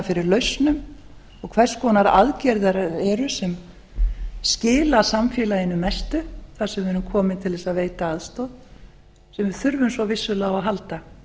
fyrir lausnum og hvers konar aðgerðir það eru sem skila samfélaginu mestu þar sem við erum komin til þess að veita aðstoð sem við þurfum svo vissulega á að halda